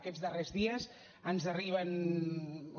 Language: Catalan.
aquests darrers dies ens arriben o